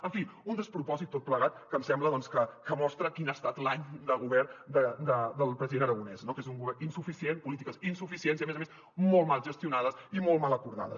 en fi un despropòsit tot plegat que em sembla que mostra quin ha estat l’any de govern del president aragonès no que és un govern insuficient polítiques insuficients i a més a més molt mal gestionades i molt mal acordades